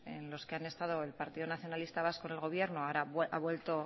en los que han estado el partido nacionalista vasco en el gobierno ahora ha vuelto